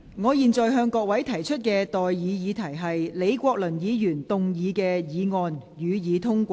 我現在向各位提出的待議議題是：李國麟議員動議的議案，予以通過。